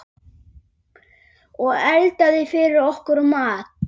Og eldaði fyrir okkur mat.